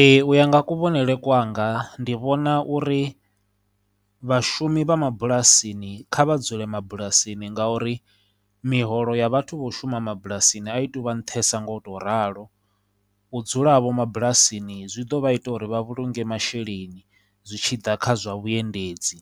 Ee, u ya nga kuvhonele kwanga ndi vhona uri vhashumi vha mabulasini kha vha dzule mabulasini ngauri miholo ya vhathu vho shuma mabulasini a i tu vha nṱhesa nga u to ralo, u dzula havho mabulasini zwi ḓo vha ita uri vha vhulunge masheleni zwi tshi ḓa kha zwa vhuendedzi,